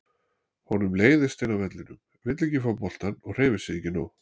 Honum leiðist inni á vellinum, vill ekki fá boltann og hreyfir sig ekki nóg.